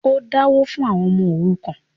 o dáwó fún “ àwọn ọmọ òrukàn”.?